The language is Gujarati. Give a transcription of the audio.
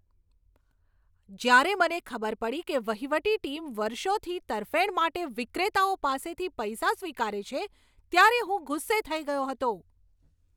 જ્યારે મને ખબર પડી કે વહીવટી ટીમ વર્ષોથી તરફેણ માટે વિક્રેતાઓ પાસેથી પૈસા સ્વીકારે છે, ત્યારે હું ગુસ્સે થઈ ગયો હતો.